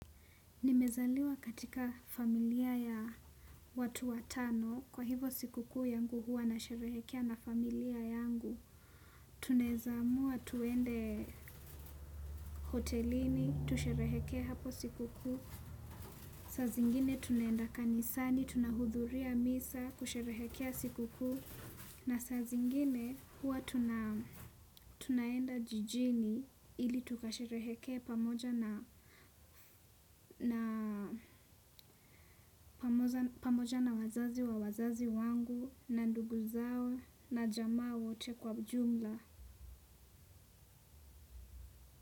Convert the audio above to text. Nimezaliwa katika familia ya watu watano, kwa hivo sikukuu yangu huwa na sherehekea na familia yangu. Tunaeza amua tuende hotelini, tusherehekee hapo sikukuu. Saa zingine tunaenda kanisani tunaudhuria misa kusherehekea sikukuu. Na saa zingine huwa tunaenda jijini ili tukasherehekee pamoja na pamoja na wazazi wa wazazi wangu na ndugu zao na jamaa wote kwa ujumla.